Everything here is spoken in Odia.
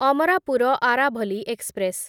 ଅମରାପୁର ଆରାଭଲି ଏକ୍ସପ୍ରେସ